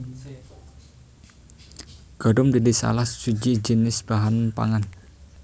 Gandum dadi salah siji jinis bahan pangan